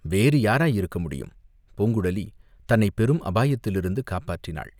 வேறு யாராயிருக்க முடியும், பூங்குழலி தன்னைப் பெரும் அபாயத்திலிருந்து காப்பாற்றினாள்.